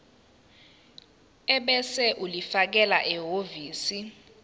ebese ulifakela ehhovisi